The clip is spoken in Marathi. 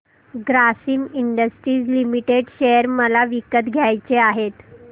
ग्रासिम इंडस्ट्रीज लिमिटेड शेअर मला विकत घ्यायचे आहेत